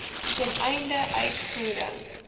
ten einde uitvoering